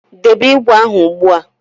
Debe ígwè ahụ ugbu a